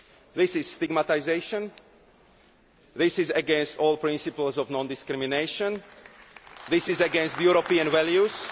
Union. This is stigmatisation, this is against all principles of non discrimination and this is against European values.